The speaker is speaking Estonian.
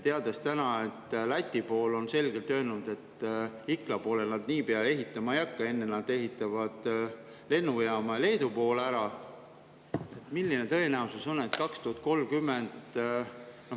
Läti on selgelt öelnud, et Ikla poole nad niipea ehitama ei hakka, enne nad ehitavad lennujaama ja Leedu poole valmis.